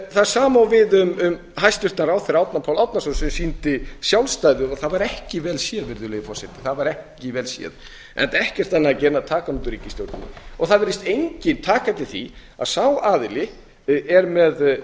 það sama á við um hæstvirtan ráðherra árna pál árnason sem sýndi sjálfstæði það var ekki vel séð virðulegi forseti það var ekki vel séð enda ekkert annað að gera en taka hann út úr ríkisstjórninni það virðist enginn taka eftir því að sá aðili er með